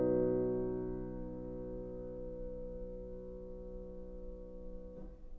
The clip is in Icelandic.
og